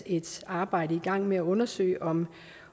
et arbejde i gang med at undersøge om